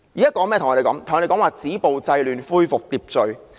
政府現在對我們說"止暴制亂，恢復秩序"。